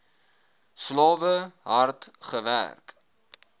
slawe hard gewerk